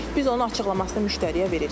Biz onu açıqlamasını müştəriyə veririk.